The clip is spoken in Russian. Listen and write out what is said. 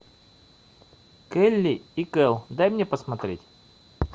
келли и кэл дай мне посмотреть